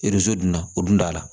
erezo dun na o dun t'a la